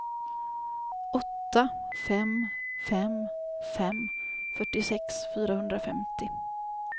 åtta fem fem fem fyrtiosex fyrahundrafemtio